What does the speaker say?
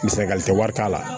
Misali tɛ wari t'a la